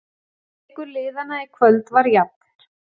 Leikur liðanna í kvöld var jafn